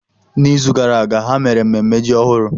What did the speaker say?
N'izu gara aga, ha mere mmemme ji ọhụrụ.